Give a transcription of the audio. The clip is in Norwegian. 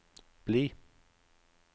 bli